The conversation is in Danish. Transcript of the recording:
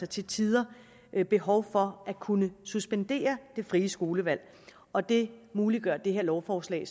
til tider har behov for at kunne suspendere det frie skolevalg og det muliggør det her lovforslag i